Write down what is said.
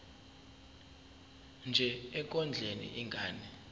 nje ekondleni ingane